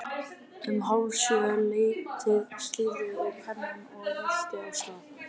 Um hálf sjö leytið slíðra ég pennann og rölti af stað.